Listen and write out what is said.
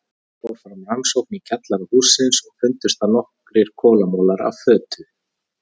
Fór fyrst fram rannsókn í kjallara hússins og fundust þar nokkrir kolamolar í fötu.